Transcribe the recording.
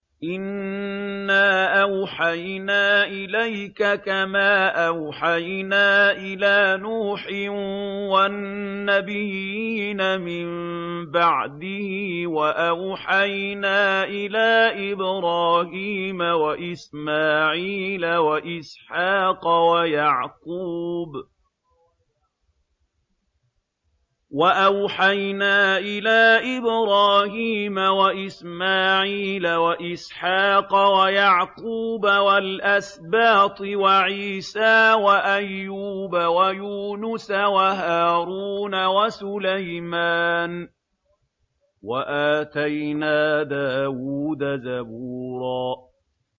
۞ إِنَّا أَوْحَيْنَا إِلَيْكَ كَمَا أَوْحَيْنَا إِلَىٰ نُوحٍ وَالنَّبِيِّينَ مِن بَعْدِهِ ۚ وَأَوْحَيْنَا إِلَىٰ إِبْرَاهِيمَ وَإِسْمَاعِيلَ وَإِسْحَاقَ وَيَعْقُوبَ وَالْأَسْبَاطِ وَعِيسَىٰ وَأَيُّوبَ وَيُونُسَ وَهَارُونَ وَسُلَيْمَانَ ۚ وَآتَيْنَا دَاوُودَ زَبُورًا